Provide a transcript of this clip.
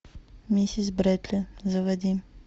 миссис бредли заводи